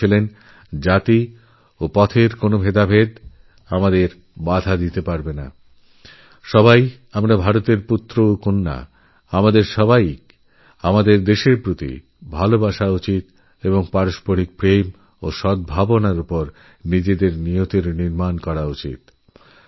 তিনি বলেছিলেন জাতি ও সম্প্রদায়ের বিভিন্নতা আমরা বদলাতে পারবোনা ভারতের প্রত্যেক নারীপুরুষের নিজের দেশকে ভালোবাসা এবং পারস্পরিক প্রেম ও সদ্ভাবনায়নিজেদের ভবিষ্যৎ নির্দিষ্ট করা উচিত